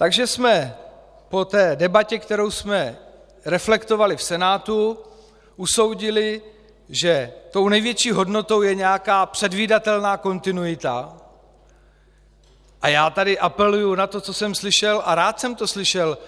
Takže jsme po té debatě, kterou jsme reflektovali v Senátu, usoudili, že tou největší hodnotou je nějaká předvídatelná kontinuita, a já tady apeluji na to, co jsem slyšel, a rád jsem to slyšel,